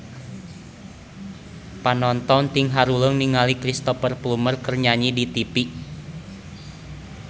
Panonton ting haruleng ningali Cristhoper Plumer keur nyanyi di tipi